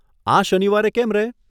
આ શનિવારે કેમ રહે?